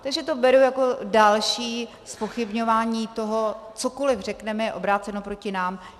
Takže to beru jako další zpochybňování toho, cokoliv řekneme, je obráceno proti nám.